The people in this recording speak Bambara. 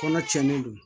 Kɔnɔ cɛnnen don